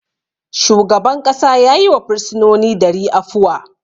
Shugaban ƙasa ya yi wa firsinoni dari afuwa.